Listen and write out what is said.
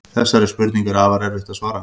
Þessari spurningu er afar erfitt að svara.